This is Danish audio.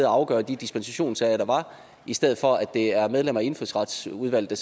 og afgøre de dispensationssager der var i stedet for at det er medlemmer af indfødsretsudvalget